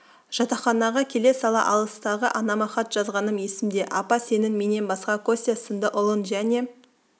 жатақханаға келе сала алыстағы анама хат жазғаным есімде апа сенің менен басқа костя сынды ұлың және